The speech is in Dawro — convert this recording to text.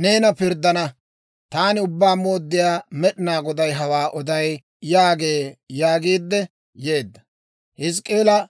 neena pirddana. Taani Ubbaa Mooddiyaa Med'inaa Goday hawaa oday› yaagee» yaagiidde yeedda.